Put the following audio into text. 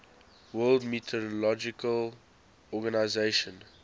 world meteorological organization